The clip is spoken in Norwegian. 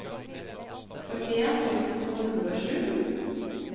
førtien tusen to hundre og sju